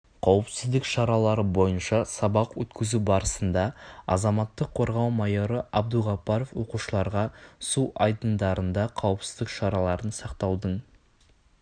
қауіпсіздік шаралары бойынша сабақ өткізу барысында азаматтық қорғау майоры абдуғаппаров оқушыларға су айдындарында қауіпсіздік шараларын сақтаудың